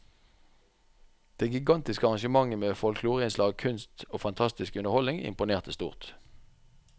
Det gigantiske arrangementet med folkloreinnslag, kunst og fantastisk underholdning imponerte stort.